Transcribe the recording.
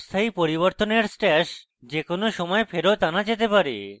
অস্থায়ী পরিবর্তনের stash যে কোনো সময় ফেরৎ আনা যেতে পারে